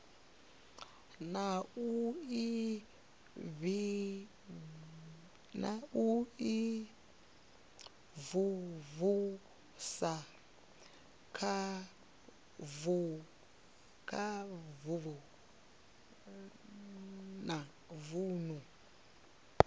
na u imvumvusa kha vunu